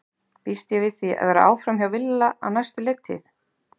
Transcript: Býst ég við því að vera áfram hjá Villa á næstu leiktíð?